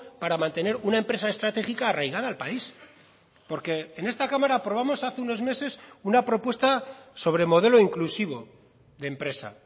para mantener una empresa estratégica arraigada al país porque en esta cámara aprobamos hace unos meses una propuesta sobre modelo inclusivo de empresa